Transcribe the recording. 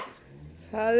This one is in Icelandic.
það eru